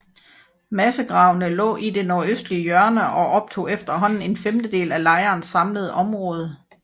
Massegravene lå i det nordøstlige hjørne og optog efterhånden en femtedel af lejrens samlede område